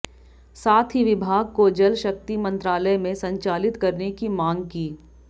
साथ ही विभाग को जल शक्ति मंत्रालय में संचालित करने की मांग की